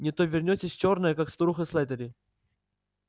не то вернётесь чёрная как старуха слэттери